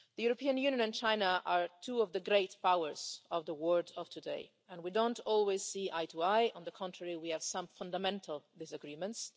The European Union and China are two of the great powers of the world of today and we don't always see eye to eye. On the contrary, we have some fundamental disagreements.